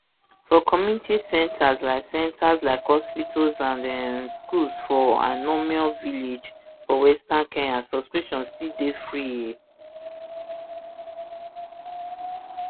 for community centres like centres like hospitals and um schools for ainomoi village for western kenya subscriptions still dey free um